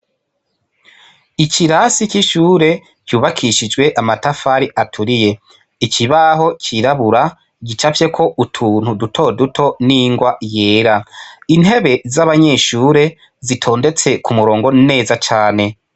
Ikirasi c'ishure cubakishijwe amatafari aturiye ikibaho cirabura gicafyeko utuntu duto duto n' ingwa yera intebe z'abanyeshure zitondetse ku murongo neza cane.